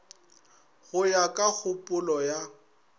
go ya ka kgopolo ya